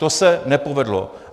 To se nepovedlo.